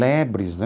Lebres, né?